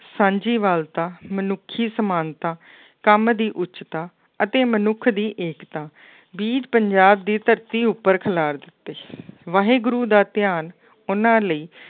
ਸਾਂਝੀ ਵਾਲਤਾ ਮਨੁੱਖੀ ਸਮਾਨਤਾ, ਕੰਮ ਦੀ ਉੱਚਤਾ ਅਤੇ ਮਨੁੱਖ ਦੀ ਏਕਤਾ, ਵੀਰ ਪੰਜਾਬ ਦੀ ਧਰਤੀ ਉੱਪਰ ਖਿਲਾਰ ਦਿੱਤੇ ਸੀ ਵਾਹਿਗੁਰੂ ਦਾ ਧਿਆਨ ਉਹਨਾਂ ਲਈ